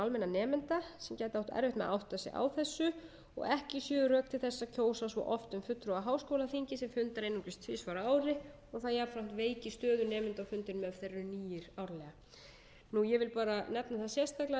gæti átt erfitt með að átta sig á þessu ekki séu rök til þess að kjósa svo oft um fulltrúa á háskólaþingi sem fundar einungis einungis tvisvar á ári og það jafnframt veiki stöðu nemenda á fundinum ef þeir eru nýir árlega ég vil bara nefna það sérstaklega að